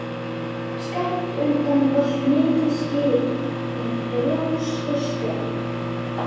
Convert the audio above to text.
Skammt undan valt mikið skip með þrjá skorsteina.